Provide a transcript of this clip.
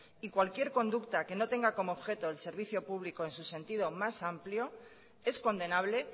y cualquier conducta que no tenga como objeto el servicio público en su sentido más amplio es condenable